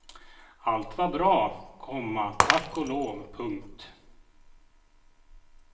Allt var bra, komma tack och lov. punkt